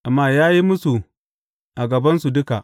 Amma ya yi mūsu a gabansu duka.